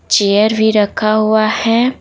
Chair भी रखा हुआ है।